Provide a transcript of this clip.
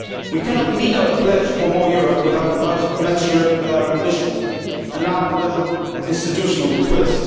We cannot meet our pledge for more Europe without a budget commensurate with our ambitions and now a little institutional twist.